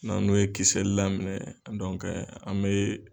N'an n'o ye kisɛ laminɛ an mɛ